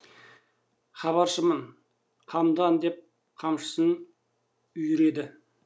хабаршымын қамдан деп қамшысын үйіреді